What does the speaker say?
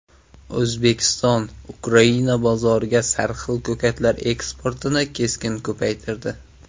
O‘zbekiston Ukraina bozoriga sarxil ko‘katlar eksportini keskin ko‘paytirdi.